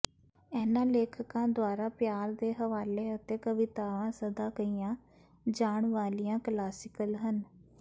ਇਹਨਾਂ ਲੇਖਕਾਂ ਦੁਆਰਾ ਪਿਆਰ ਦੇ ਹਵਾਲੇ ਅਤੇ ਕਵਿਤਾਵਾਂ ਸਦਾ ਕਹੀਆਂ ਜਾਣ ਵਾਲੀਆਂ ਕਲਾਸੀਕਲ ਹਨ